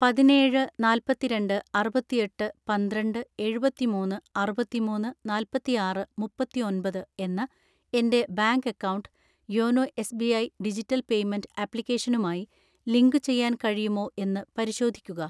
പതിനേഴ് നാല്പത്തിരണ്ട്‍ അറുപത്തിയെട്ട് പന്ത്രണ്ട് എഴുപത്തിമൂന്ന് അറുപത്തിമൂന്ന് നാല്പത്തിആറ് മുപ്പത്തിഒൻപത് എന്ന എൻ്റെ bank account YONO SBI digital payment ആപ്ലിക്കേഷനുമായി ലിങ്കുചെയ്യാൻ കഴിയുമോ എന്ന് പരിശോധിക്കുക